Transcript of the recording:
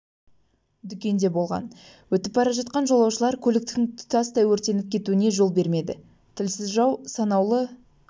дүкенде болған өтіп бара жатқан жолаушылар көліктің тұтастай өртеніп кетуіне жол бермеді тілсіз жау санаулы